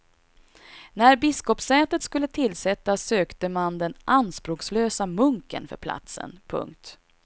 När biskopssätet skulle tillsättas sökte man den anspråklöse munken för platsen. punkt